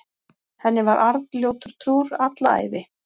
Henni var Arnljótur trúr alla ævi.